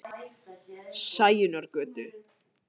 Sæunnargötu